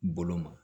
Bolo ma